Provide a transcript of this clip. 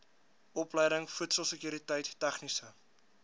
opleiding voedselsekuriteit tegniese